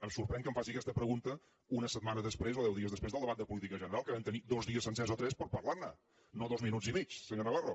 em sorprèn que em faci aquesta pregunta una setmana després o deu dies després del debat de política general que vam tenir dos dies sencers o tres per parlar ne no dos minuts i mig senyor navarro